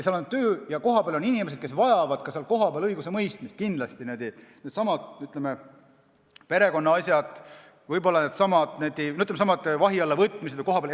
Seal on töö olemas ja on ka inimesed, kes vajavad seal kohapeal õigusemõistmist, näiteks võib tuua needsamad, ütleme, perekonnaasjad, võib-olla needsamad vahi alla võtmised kohapeal.